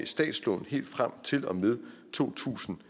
statslån helt frem til og med to tusind